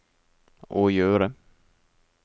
å gjøre